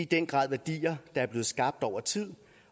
den grad værdier er blevet skabt over tid